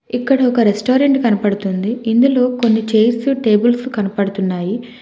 ఇక్కడ ఒక రెస్టారెంట్ కనబడుతుంది ఇందులో కొన్ని చైర్స్ టేబుల్స్ కనబడుతున్నాయి.